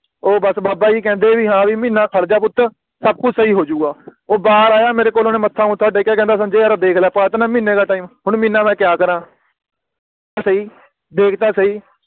ਓ ਬੱਸ ਬਾਬਾ ਜੀ ਕਹਿੰਦੇ ਵੀ ਹਾਂ ਵੀ ਮਹੀਨਾ ਖੜ ਜਾ ਪੁੱਤ ਸਭ ਕੁਛ ਸਹੀ ਹੋ ਜੁਗਾ ਉਹ ਬਾਹਰ ਆਇਆ ਮੇਰੇ ਕੋਲ ਓਹਨੇ ਮੱਥਾ ਮੁਥਾ ਟੇਕਿਆ ਕਹਿੰਦਾ ਸੰਜੇ ਯਾਰ ਦੇਖ ਲਾ ਪਾ ਤਾ ਨਾ ਮਹੀਨੇ ਦਾ Time ਹੁਣ ਮਹੀਨਾ ਦਾ ਕਿਹਾ ਤੇਰਾ ਸਹੀ ਦੇਖ ਤਾ ਸਹੀ